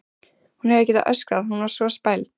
Hún hefði getað öskrað, hún var svo spæld.